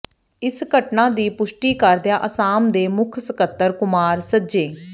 ਇਸ ਘਟਨਾ ਦੀ ਪੁਸ਼ਟੀ ਕਰਦਿਆਂ ਅਸਾਮ ਦੇ ਮੁੱਖ ਸਕੱਤਰ ਕੁਮਾਰ ਸੱਜੇ